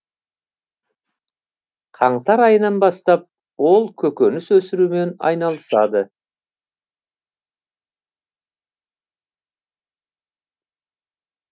қаңтар айынан бастап ол көкөніс өсірумен айналысады